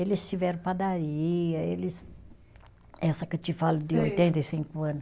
Eles tiveram padaria, eles, essa que eu te falo de oitenta e cinco ano.